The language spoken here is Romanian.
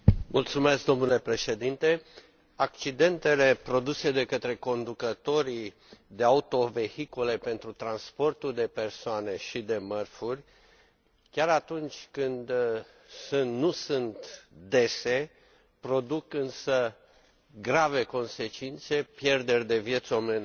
Domnule președinte, accidentele produse de către conducătorii de autovehicule pentru transportul de persoane și de mărfuri, chiar și atunci când nu sunt dese, produc grave consecințe, pierderi de vieți omenești